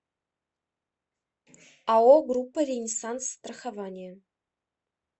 ао группа ренессанс страхование